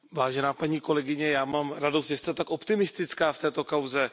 Vážená paní kolegyně, já mám radost, že jste tak optimistická v této kauze.